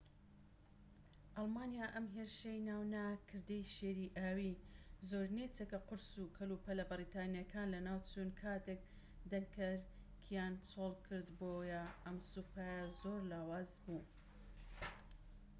ئەلمانیا ئەم هێرشەی ناونا کردەی شێری ئاوی زۆرینەی چەکە قورس و کەلوپەلە بەریتانیەکان لەناوچوون کاتێك دەنکەرکیان چۆڵ کرد بۆیە ئەم سوپایە زۆر لاواز بوو